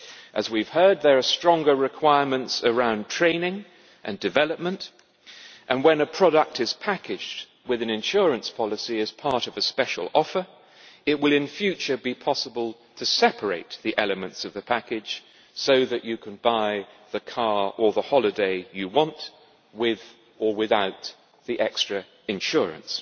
As we have heard, there are stronger requirements around training and development, and when a product is packaged with an insurance policy as part of a special offer, it will in future be possible to separate the elements of the package so that you can buy the car or the holiday you want, with or without the extra insurance.